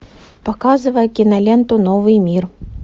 показывай киноленту новый мир